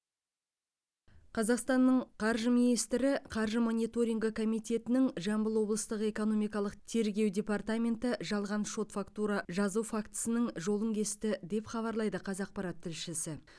қазақстанның қаржы министрі қаржы мониторингі комитетінің жамбыл облыстық экономикалық тергеу департаменті жалған шот фактура жазу фактісінің жолын кесті деп хабарлайды қазақпарат тілшісі